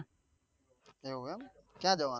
એવું એમ ક્યા જવા નું છે?